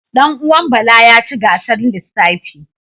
Ɗan uwan Bala ya ci gasar lissafi.